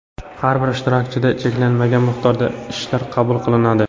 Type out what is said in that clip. Har bir ishtirokchidan cheklanmagan miqdorda ishlar qabul qilinadi.